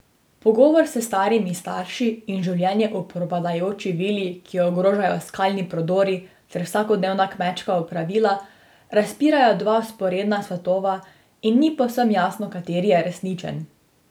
Pogovori s starimi starši in življenje v propadajoči vili, ki jo ogrožajo skalni podori, ter vsakodnevna kmečka opravila razpirajo dva vzporedna svetova in ni povsem jasno, kateri je resničen.